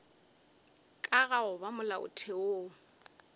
ka ga go ba molaotheong